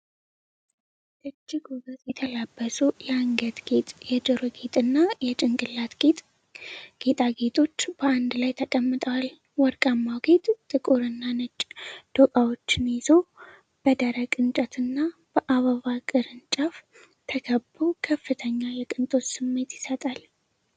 እጅግ ውበት የተላበሱ የአንገት ጌጥ፣ የጆሮ ጌጥና የጭንቅላት ጌጥ ጌጣጌጦች በአንድ ላይ ተቀምጠዋል። ወርቃማው ጌጥ ጥቁር እና ነጭ ዶቃዎችን ይዞ፣ በደረቅ እንጨትና በአበባ ቅርንጫፍ ተከቦ፣ ከፍተኛ የቅንጦት ስሜትን ይሰጣል።